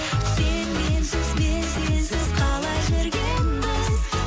сен менсіз мен сенсіз қалай жүргенбіз